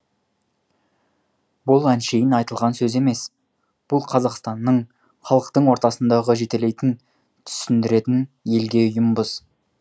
бұл әншейін айтылған сөз емес бұл қазақстанның халықтың ортасындағы жетелейтін түсіндіретін елге ұйымбыз